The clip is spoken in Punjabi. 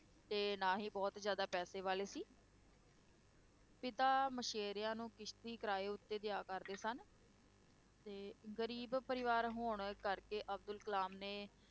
ਤੇ ਨਾ ਹੀ ਬਹੁਤ ਜ਼ਿਆਦਾ ਪੈਸੇ ਵਾਲੇ ਸੀ ਪਿਤਾ ਮਛੇਰਿਆਂ ਨੂੰ ਕਿਸ਼ਤੀ ਕਿਰਾਏ ਉੱਤੇ ਦਿਆ ਕਰਦੇ ਸਨ ਤੇ ਗਰੀਬ ਪਰਿਵਾਰ ਹੋਣ ਕਰਕੇ ਅਬਦੁਲ ਕਲਾਮ ਨੇ,